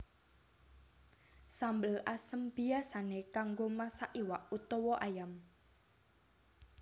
Sambel asem biyasané kanggo masak iwak utawa ayam